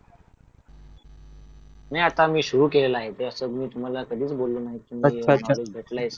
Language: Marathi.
नाही आता मी सुरु केलेलं आहे ते आता मी तुम्हाला हे कधी बोललेलो नव्हतो कि नॉलेज भेटलय सध्या